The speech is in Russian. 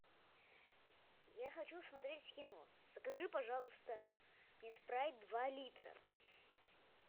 я хочу смотреть кино закажи пожалуйста мне спрайт два литра